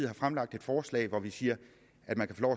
har fremlagt et forslag hvor vi siger at man kan få